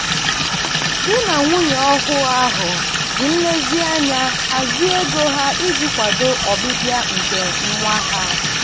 di na nwunye ọhụụ ahụ ji nlezianya hazie ego ha iji kwado ọbịbịa nke nwa ha.